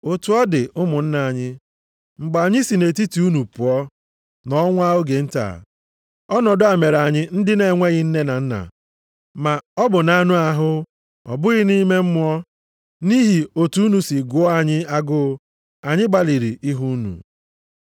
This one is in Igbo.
Otu ọ dị, ụmụnna anyị, mgbe anyị si nʼetiti unu pụọ, nọọ nwa oge nta, ọnọdụ a mere anyị ndị na-enweghị nne na nna (maọbụ na-anụ ahụ ọ bụghị nʼime mmụọ), nʼihi otu unu si gụọ anyị agụụ, anyị gbalịrị ihu unu.